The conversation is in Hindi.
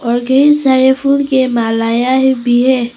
और कई सारे फूल के मालायां भी हैं।